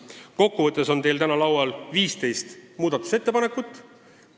Kokku võttes on teil täna laual 15 muudatusettepanekut.